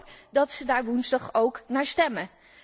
Ik hoop dat de leden daar woensdag ook naar stemmen.